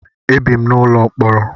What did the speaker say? Ebi m n'ụlọ mkpọrọ.